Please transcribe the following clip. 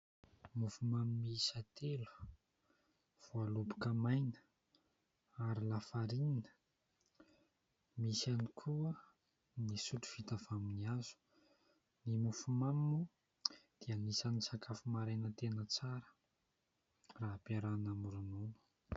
Mofomamy miisa telo, voaloboka maina ary lafarinina. Misy ihany koa ny sotro vita avy amin'ny hazo, ny mofomamy moa dia anisany sakafo maraina tena tsara raha ampiarahina amin'ny ronono.